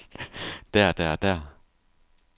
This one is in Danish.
der der der